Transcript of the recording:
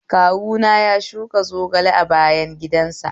Kawuna ya shuka zogale a bayan gidan sa